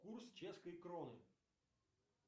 курс чешской кроны